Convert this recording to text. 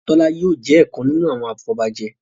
Tola yóò jé ọkàn nínú àwọn afobaje